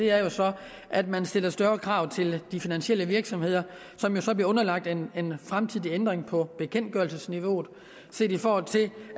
er så at man stiller større krav til de finansielle virksomheder som jo så bliver underlagt en fremtidig ændring på bekendtgørelsesniveauet set i forhold til